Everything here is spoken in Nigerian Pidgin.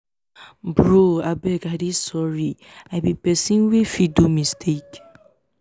bro abeg i dey sorry. i be person wey fit do mistake.